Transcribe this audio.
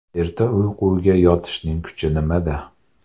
Erta uyquga yotishning kuchi nimada?